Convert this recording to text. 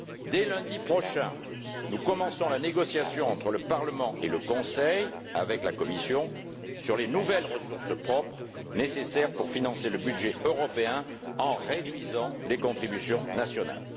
Dès lundi prochain, nous commençons la négociation entre le Parlement et le Conseil, avec la Commission, sur les nouvelles ressources propres nécessaires pour financer le budget européen en réduisant les contributions nationales.